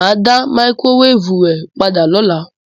Mà á dá máíkrówévù rẹ padà lọ́la.